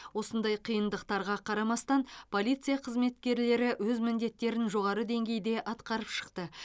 осындай қиындықтарға қарамастан полиция қызметкерлері өз міндеттерін жоғары деңгейде атқарып шықты